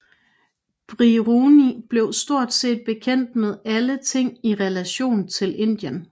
Biruni blev stort set bekendt med alle ting i relation til Indien